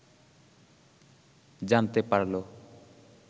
জানতে পারল